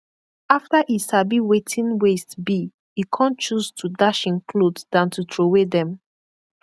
afta e sabi wetin waste bi e kon choose to dash en kloth dan to trowey dem